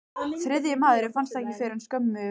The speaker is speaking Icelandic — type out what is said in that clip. Þriðji maðurinn fannst ekki fyrr en skömmu eftir dögun.